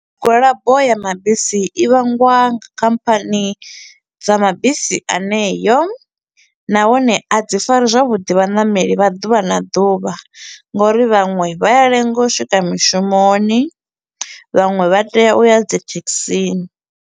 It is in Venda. Migwalabo ya mabisi i vhangwa nga khamphani dza mabisi aneyo, nahone a dzi fari zwavhuḓi vhaṋameli vha ḓuvha na ḓuvha nga uri vhaṅwe vha a lenga u swika mishumoni, vhaṅwe vha tea u ya dzi thekhisini.